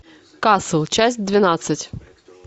касл часть двенадцать